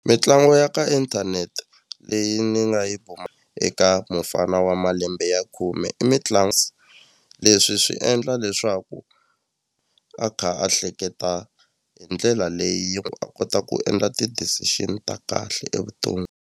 Mitlangu ya ka inthanete leyi ni nga yi eka mufana wa malembe ya khume i leswi swi endla leswaku a kha a hleketa hi ndlela leyi a kota ku endla ti-decision ta kahle .